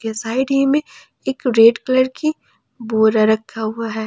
Side ही में एक रेड कलर की बोरा रखा हुआ है।